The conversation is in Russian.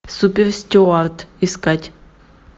суперстюард искать